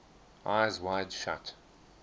eyes wide shut